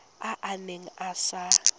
a a neng a sa